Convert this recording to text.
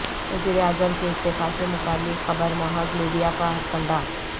وزیر اعظم کے استعفی سے متعلق خبر محظ میڈیا کا ہتھکنڈہ